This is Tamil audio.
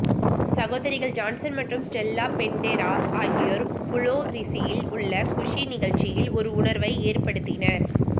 சகோதரிகள் ஜான்சன் மற்றும் ஸ்டெல்லா பெண்டேராஸ் ஆகியோர் புளோரிஸில் உள்ள குஸ்ஸி நிகழ்ச்சியில் ஒரு உணர்வை ஏற்படுத்தினர்